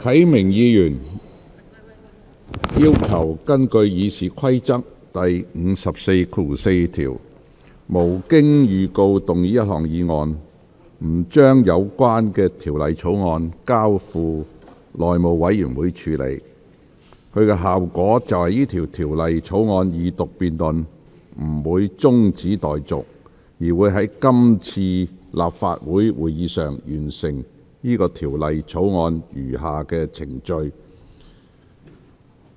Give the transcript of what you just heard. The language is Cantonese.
何啟明議員要求根據《議事規則》第544條，動議一項可無經預告的議案，不將有關《條例草案》交付內務委員會處理，其效果是有關《條例草案》的二讀辯論不會中止待續，而是在是次立法會會議處理該《條例草案》的餘下程序。